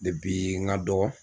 n ga dɔgɔ